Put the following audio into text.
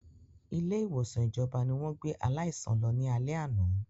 Ilé ìwòsàn ìjọba ni wọ́n gbé aláìsàn lọ ní alé àná